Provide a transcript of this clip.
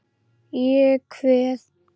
Ég kveð.